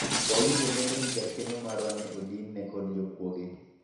wawinjo lendo ni jakeno marwa ne odin ne kod jokuoge